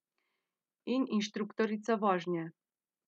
In inštruktorica vožnje.